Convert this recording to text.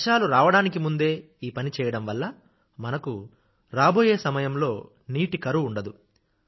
వర్షాలు రావడానికి ముందే ఈ పని చేయడం వల్ల మనకు రాబోయే సమయంలో నీటి కరువు ఉండదు